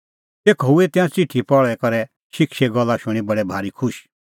तेखअ हुऐ तिंयां च़िठी पहल़ी करै शिक्षे गल्ला शूणीं बडै भारी खुश